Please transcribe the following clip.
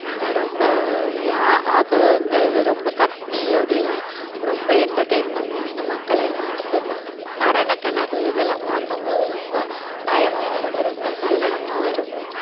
அஹ் ரொம்ப ரொம்ப கத்தி அப்படி எல்லாம் ரொம்ப entertain பண்ணுவாங்க மக்கள் எல்லாம் அடுத்ததுதான் மரணக் கிணறு இதெல்லாம் பார்க்கும் போது ரொம்ப பயமாவும் இருக்கும் ரொம்ப குதூகலமாவும் இருக்கும்